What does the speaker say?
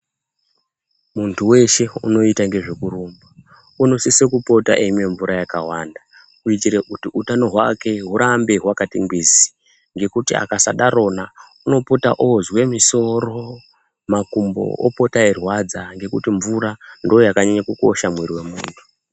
Muntu weshe unoite ngezvekurumba unosise kupota eimwa mvura yakawanda .Kuita hutano hwake hurambe hwakati ngwizi ngekuti akasadarona unopote ozwe musoro ,makumbo opote eirwadza ngekuti mvura ndoyakanyanye kukosha mumuiri memuntu.